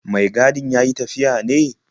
Mai gadin ya yi tafiya ne?